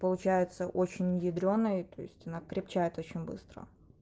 получается очень ядрёный то есть она крепчает очень быстро